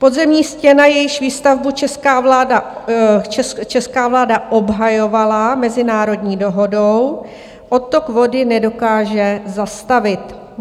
Podzemní stěna, jejíž výstavbu česká vláda obhajovala mezinárodní dohodou, odtok vody nedokáže zastavit.